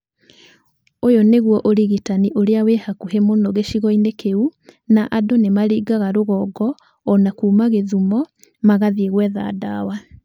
"Ũyũ nĩguo ũrigitani ũrĩa wĩ hakuhĩ mũno gĩcigo-inĩ kĩu na andũ nĩ maringaga rũgongo o na kuuma gĩthumo magathiĩ gwetha ndawa.